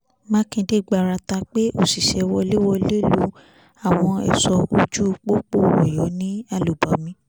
mákindé gbárata pé òṣìṣẹ́ wọléwọ̀de lu àwọn ẹ̀ṣọ́ ojú pópó ọyọ́ ní àlùbami